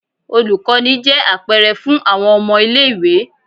Olukọni jẹ apẹrẹ fun awọn ọmọ ile-iwe.